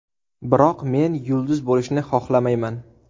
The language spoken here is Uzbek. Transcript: Biroq men yulduz bo‘lishni xohlamayman.